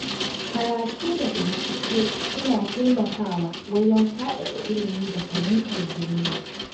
Karatu da bincike suna taimakawa wajen faɗaɗa ilimi da fahimtar duniya.